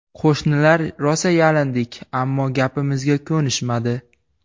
Qo‘shnilar rosa yalindik, ammo gapimizga ko‘nishmadi.